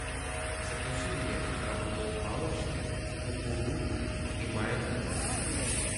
закажи мне крабовые палочки кукурузу и майонез